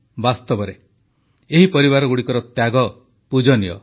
ବାସ୍ତବରେ ଏହି ପରିବାରଗୁଡ଼ିକର ତ୍ୟାଗ ପୂଜନୀୟ